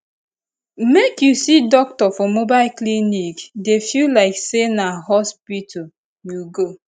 make you see doctor for mobile clinic dey feel like say na hospital you go